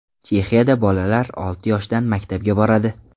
Chexiyada bolalar olti yoshdan maktabga boradi.